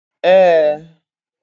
Ee